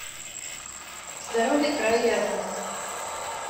здоровый край рядом